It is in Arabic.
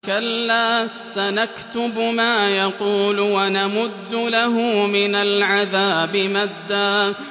كَلَّا ۚ سَنَكْتُبُ مَا يَقُولُ وَنَمُدُّ لَهُ مِنَ الْعَذَابِ مَدًّا